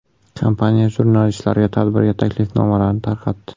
Kompaniya jurnalistlarga tadbirga taklifnomalarni tarqatdi.